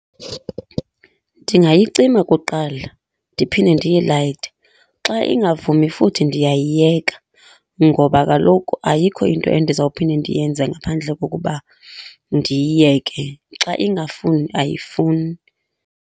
Ndingayicima kuqala ndiphinde ndiyilayite. Xa ingavumi futhi ndiyayiyeka, ngoba kaloku ayikho into endizawuphinda ndiyenze ngaphandle kokuba ndiyiyeke, xa ingafuni ayifuni.